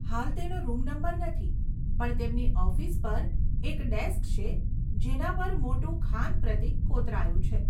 હાલ તેનો room number નથી. પણ તેમની ઓફિસ પર એક ડેસ્ક છે જેના પર મોટું ખાન પ્રતીક કોતરાયું છે.